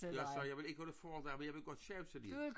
Jeg sagde jeg vil ikke holde foredrag men jeg vil godt sjawsa lidt